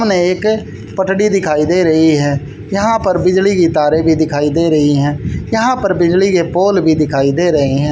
हमें एक पटरी दिखाई दे रही है यहां पर बिजली की तारें भी दिखाई दे रही हैं यहां पर बिजली के पोल भी दिखाई दे रहे हैं।